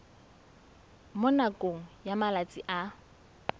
mo nakong ya malatsi a